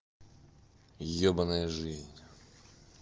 ёбанная жизнь